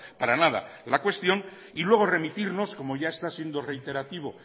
para nada la cuestión y luego remitirnos como ya ha está siendo reiterativo